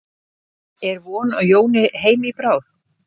En er von á Jóni heim í bráð?